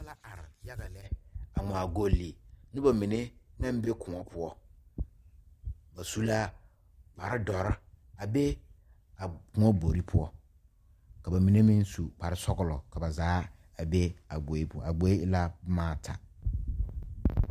Noba la are yaga lɛ a ŋmaa goli nobamine naŋ be kõɔ poɔ ba su la kparre dɔre a be a kõɔ gbori poɔ ka bamine meŋ su kparre sɔglɔ ka ba zaa a be a gboe poɔ a gboe e la boma ata.